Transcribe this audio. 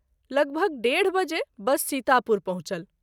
लगभग १.३० बजे बस सीतापुर पहुँचल।